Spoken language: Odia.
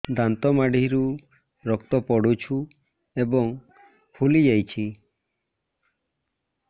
ଦାନ୍ତ ମାଢ଼ିରୁ ରକ୍ତ ପଡୁଛୁ ଏବଂ ଫୁଲି ଯାଇଛି